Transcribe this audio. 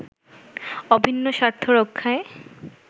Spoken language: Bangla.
অভিন্ন স্বার্থ রক্ষায়